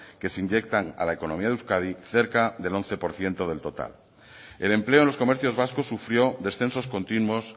que se inyectan a la economía de euskadi cerca del once por ciento del total el empleo en los comercios vascos sufrió descensos continuos